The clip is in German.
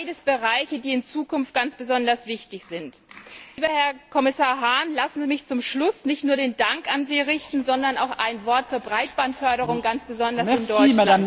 Dies sind beides Bereiche, die in Zukunft ganz besonders wichtig sind. Lieber Herr Kommissar Hahn, lassen Sie mich zum Schluss nicht nur den Dank an Sie richten, sondern auch ein Wort zur Breitbandförderung ganz besonders in Deutschland...